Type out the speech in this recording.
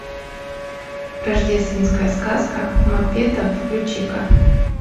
рождественская сказка маппетов включи ка